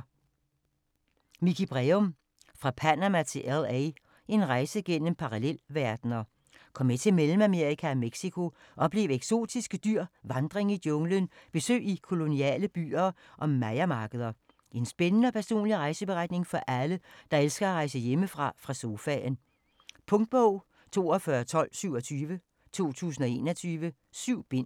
Breum, Mikie: Fra Panama til LA: en rejse gennem parallelverdener Kom med til Mellemamerika og Mexico, oplev eksotiske dyr, vandring i junglen, besøg i koloniale byer og mayamarkeder. En spændende og personlig rejseberetning for alle, der elsker at rejse hjemme fra sofaen. Punktbog 421227 2021. 7 bind.